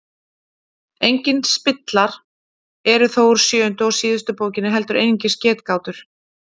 Engir spillar eru þó úr sjöundu og síðustu bókinni heldur einungis getgátur.